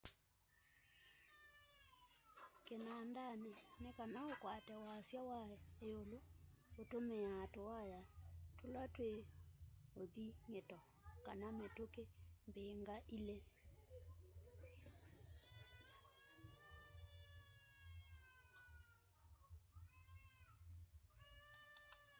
kinandani nikana ukwate wasya wa iulu utumiaa tuwaya tula twi uthing'ito kana mituki mbingaingi